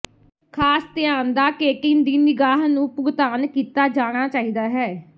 ਖਾਸ ਧਿਆਨ ਦਾ ਕੇਟਿਨ ਦੀ ਨਿਗਾਹ ਨੂੰ ਭੁਗਤਾਨ ਕੀਤਾ ਜਾਣਾ ਚਾਹੀਦਾ ਹੈ